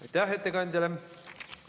Aitäh ettekandjale!